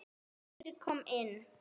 Friðrik kom inn.